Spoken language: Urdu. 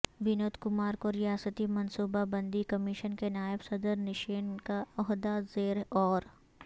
ونود کمار کو ریاستی منصوبہ بندی کمیشن کے نائب صدر نشین کا عہدہ زیر غور